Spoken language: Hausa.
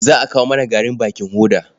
Za a kawo mana garin bakin hoda.